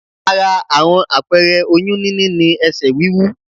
Ara àwọn apẹẹrẹ oyún níní ni ẹsẹ̀ wíwú